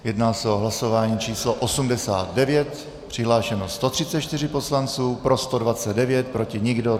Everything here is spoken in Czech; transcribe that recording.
Jedná se o hlasování číslo 89, přihlášeno 134 poslanců, pro 129, proti nikdo.